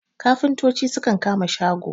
kafintoci sukan kama shago